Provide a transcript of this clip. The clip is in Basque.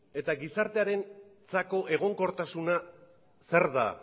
eta gizartearentzako egonkortasuna zer da